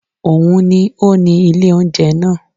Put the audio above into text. Òun ni ó ni ilé oúnjẹ náà